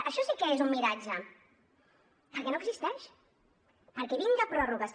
això sí que és un miratge perquè no existeix perquè vinga pròrrogues